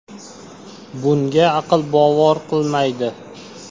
Bunga aql bovar qilmaydi.